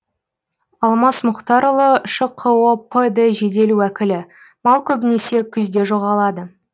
алмас мұхтарұлы шқо пд жедел уәкілі мал көбінесе күзде жоғалады